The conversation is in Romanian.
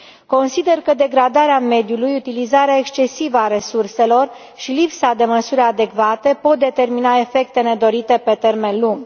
Consider că degradarea mediului, utilizarea excesivă a resurselor și lipsa de măsuri adecvate pot determina efecte nedorite pe termen lung.